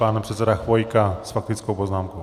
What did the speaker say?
Pan předseda Chvojka s faktickou poznámkou.